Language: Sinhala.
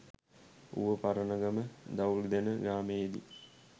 ඌව පරණගම දවුල්දෙන ග්‍රාමයේදී